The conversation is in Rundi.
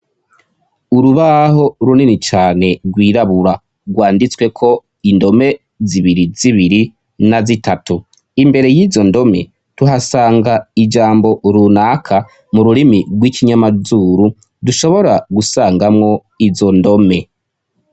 Urubaho runini cane rwirabura rwanditsweko indome zibiri zibiri na zitatu imbere y'izo ndome tuhasanga ijambo runaka mu rurimi rw'ikinyamazuru dushobora gusangamwo izo ndome.